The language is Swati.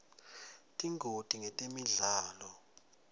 tingoti ngetemidlalo